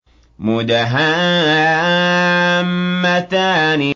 مُدْهَامَّتَانِ